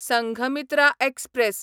Sanghamitra express